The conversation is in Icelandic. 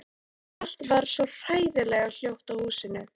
Allt varð svo hræðilega hljótt í húsinu.